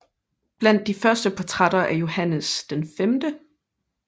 Blandt de første portrætter af Johannes V